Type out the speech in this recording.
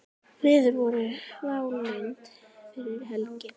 Veður voru válynd fyrir helgi.